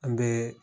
An bɛ